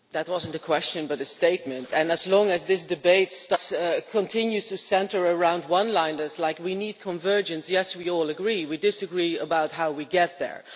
That was not a question, but a statement. As long as this debate continues to centre around one liners such as we need convergence', yes, we all agree. We disagree about how we get there.